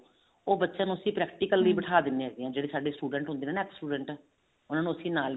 ਉਹ ਬੱਚਿਆਂ ਨੂੰ ਅਸੀਂ practically ਲਈ ਬੈਠਾ ਦਿੰਨੇ ਹਾਂ ਜਿਹੜੇ ਸਾਡੇ student ਹੁੰਦੇ ਨੇ ਨਾ ex student ਉਹਨਾ ਨੂੰ ਅਸੀਂ ਨਾਲ